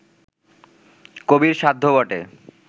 কবির সাধ্য বটে